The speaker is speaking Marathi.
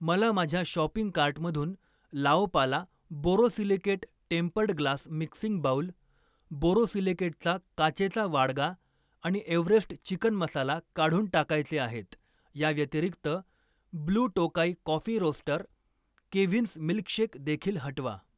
मला माझ्या शॉपिंग कार्टमधून Laopala borosilicate tempered glass mixing bowl, बोरोसिलिकेटचा काचेचा वाडगा आणि एव्हरेस्ट चिकन मसाला काढून टाकायचे आहेत. या व्यतिरिक्त, blue Tokai coffee roaster, Keventers milkshake देखील हटवा.